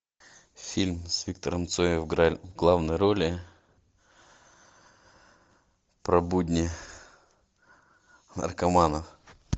фильм с виктором цоем в главной роли про будни наркоманов